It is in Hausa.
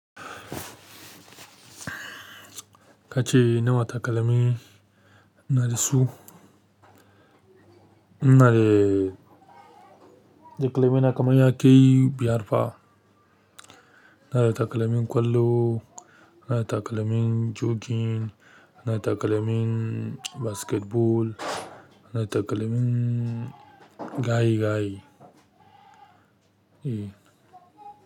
Ka ce nawa takalami nasu. Na re takalmi na kaman yakai biyar fa. Ina da takalmin ƙwallo, ina da takalmin jogging, ina da takalmin basketball, ina da takalmin gaye gaye. E.